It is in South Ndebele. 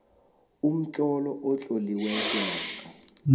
umtlolo otloliweko namkha